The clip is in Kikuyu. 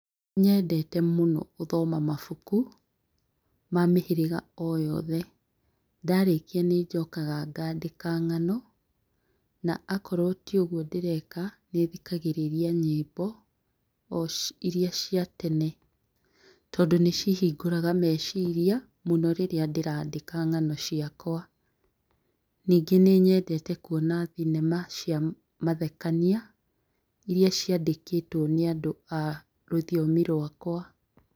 Nyendete mũno gũthoma mabuku ma mĩhĩrĩga o yothe. Ndarĩkia nĩnjokaga ngandĩka ng'ano na akorwo tiũgwo nĩthikagĩrĩria nyĩmbo iria cia tene tondũ nĩcihingũraga meciria rĩrĩa ndĩrandĩka ng'ano ciakwa. Nyingĩ nĩ nyendete kwona thinema cia mathekania iria ciandĩkĩtwo nĩ andũ a rũthiomi rũakwa.